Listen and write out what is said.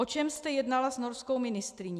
O čem jste jednala s norskou ministryní?